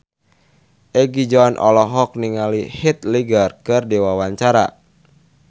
Egi John olohok ningali Heath Ledger keur diwawancara